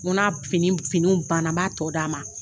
N ko na fini fini banna n b'a tɔ d'a ma